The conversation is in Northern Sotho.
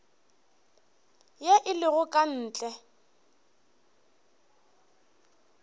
ye e lego ka ntle